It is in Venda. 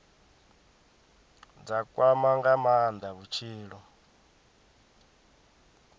dza kwama nga maanda vhutshilo